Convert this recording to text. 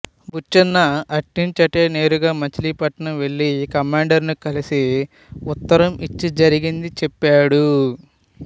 బుచ్చన్న అట్నుంచటే నేరుగా మచిలీపట్నం వెళ్ళి కమాండరును కలిసి ఉత్తరం ఇచ్చి జరిగింది చెప్పాడు